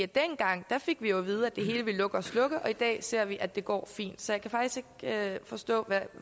dengang fik vi jo at vide at det hele ville lukke og slukke og i dag ser vi at det går fint så jeg kan faktisk ikke forstå